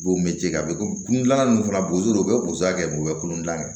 B'o mɛ ce a bɛ ko dilan ninnu fana la boso la u bɛ bozo kɛ u bɛ kolon gilan kɛ